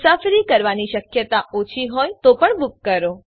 મુસાફરી કરવાની શક્યતા ઓછી હોય તો પણ બૂક કરો